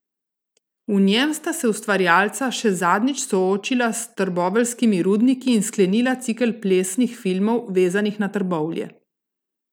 V njem sta se ustvarjalca še zadnjič soočila s trboveljskimi rudniki in sklenila cikel plesnih filmov, vezanih na Trbovlje.